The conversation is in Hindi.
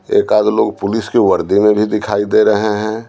एकाद लोग पुलिस की वर्दी में भी दिखाई दे रहे हैं।